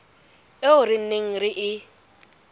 eo re neng re e